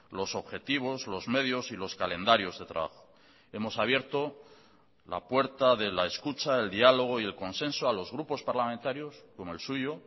los objetivos los medios y los calendarios de trabajo hemos abierto la puerta de la escucha el diálogo y el consenso a los grupos parlamentarios como el suyo